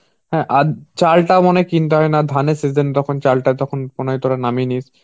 হ্যাঁ. আর চালটা মানে কিনতে হয় না. ধানের season তখন চালটা তখন মনে হয় তোরা নামিয়ে নিস.